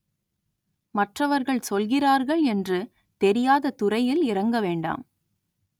மற்றவர்கள் சொல்கிறார்கள் என்று தெரியாத துறையில் இறங்க வேண்டாம்